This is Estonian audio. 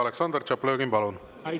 Aleksandr Tšaplõgin, palun!